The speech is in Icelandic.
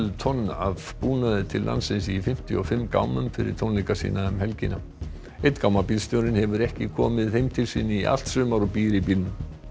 tonn af búnaði til landsins í fimmtíu og fimm gámum fyrir tónleika sína um helgina einn hefur ekki komið heim til sín í allt sumar og býr í bílnum